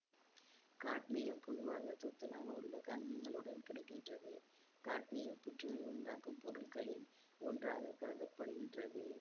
cadmium பொதுவாக துத்தநாகம் உள்ள கனிமங்களுடன் கிடை கின்றது காட்மியம் புற்றுநோய் உண்டாக்கும் பொருட்களில் ஒன்றாக கருத படுகின்றது